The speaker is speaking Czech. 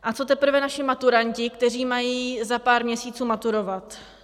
A co teprve naši maturanti, kteří mají za pár měsíců maturovat?